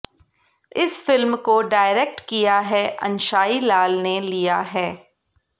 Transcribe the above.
इस फिल्म को डायरेक्ट किया हैं अंशाई लाल ने लिया हैं